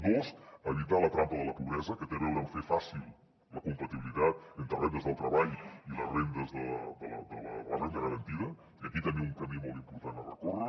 dos evitar la trampa de la pobresa que té a veure amb fer fàcil la compatibilitat entre rendes del treball i les rendes de la renda garantida i aquí també un camí molt important a recórrer